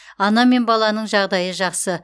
ана мен баланың жағдайы жақсы